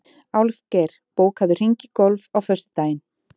Álfgeir, bókaðu hring í golf á föstudaginn.